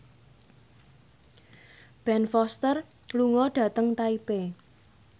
Ben Foster lunga dhateng Taipei